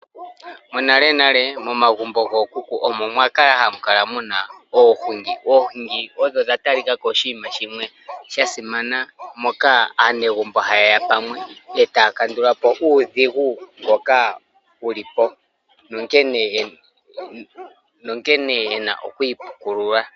Monalenale momagumbo gookuku omwa li hamu kala mu na oohungi. Oohungi odho dha talika ko oshinima shimwe sha simana, moka aanegumbo haye ya pamwe e taya kandula po uudhigu mboka wu li po, nonkene ye na oku ipukulula.